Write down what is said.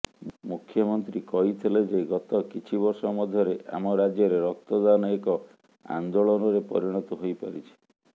ମୁଖ୍ୟମନ୍ତ୍ରୀ କହିଥିଲେ ଯେ ଗତ କିଛି ବର୍ଷ ମଧ୍ୟରେ ଆମ ରାଜ୍ୟରେ ରକ୍ତଦାନ ଏକ ଆନ୍ଦୋଳନରେ ପରିଣତ ହୋଇପାରିଛି